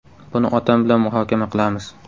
Buni otam bilan muhokama qilamiz.